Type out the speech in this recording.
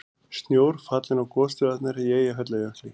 Snjór fallinn á gosstöðvarnar í Eyjafjallajökli